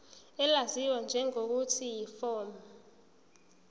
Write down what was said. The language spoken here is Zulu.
elaziwa ngelokuthi yiform